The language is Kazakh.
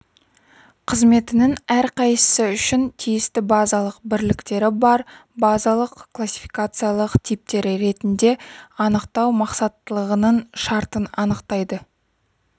қызметінің әрқайсысы үшін тиісті базалық бірліктері бар базалық классификациялық типтер ретінде анықтау мақсаттылығының шартын анықтайды